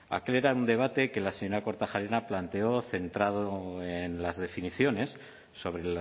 aquel era un debate que la señora kortajarena planteó centrado en las definiciones sobre